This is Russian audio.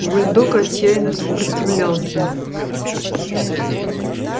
бульдог отчаянно сопротивлялся